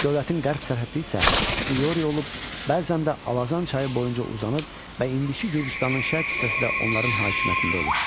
Dövlətin qərb sərhədi isə İoli olub, bəzən də Alazan çayı boyunca uzanıb və indiki Gürcüstanın şərq hissəsi də onların hakimiyyətində olub.